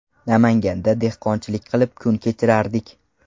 Namanganda dehqonchilik qilib kun kechirardik.